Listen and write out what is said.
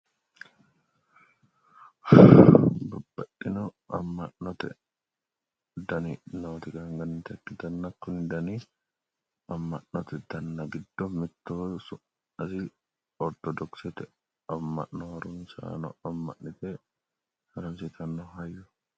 babbaxxino amma'note dani nooti egenninannita ikkitanna kuni dani amma'nate danna giddo mittoho ortodokisete amma'no harunsaano amma'nite harate hayyooti